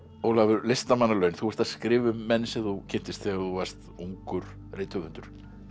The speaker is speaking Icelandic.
Ólafur listamannalaun þú ert að skrifa um menn sem þú kynntist þegar þú varst ungur rithöfundur